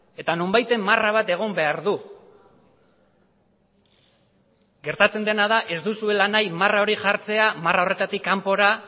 eta nonbaiten marra bat egon behar du gertatzen dena da ez duzuela nahi marra hori jartzea marra horretatik kanpora